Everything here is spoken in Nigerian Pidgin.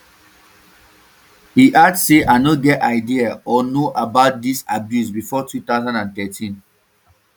e add say i no get idea or know about dis abuse bifor two thousand and thirteen